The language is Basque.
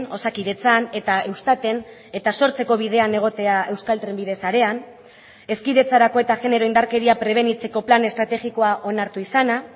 osakidetzan eta eustaten eta sortzeko bidean egotea euskal trenbide sarean hezkidetzarako eta genero indarkeria prebenitzeko plan estrategikoa onartu izana